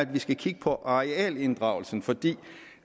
vi skal kigge på arealinddragelsen fordi